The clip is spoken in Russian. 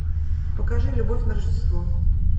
покажи любовь на рождество